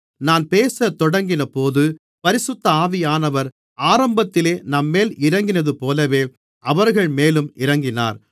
நான் பேசத்தொடங்கினபோது பரிசுத்த ஆவியானவர் ஆரம்பத்திலே நம்மேல் இறங்கினதுபோலவே அவர்கள்மேலும் இறங்கினார்